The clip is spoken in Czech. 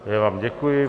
Já vám děkuji.